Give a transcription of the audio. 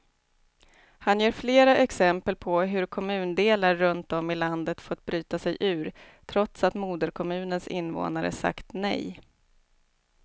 Han ger flera exempel på hur kommundelar runt om i landet fått bryta sig ur, trots att moderkommunens invånare sagt nej.